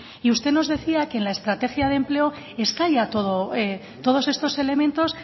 usted nos decía que en la estrategia de empleo está ya todo todos estos elementos